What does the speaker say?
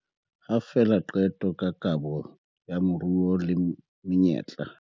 Ha fela qeto ka kabo ya moruo le menyetla